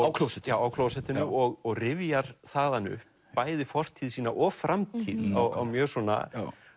á klósettinu á klósettinu já og rifjar þaðan upp bæði fortíð sína og framtíð á mjög svona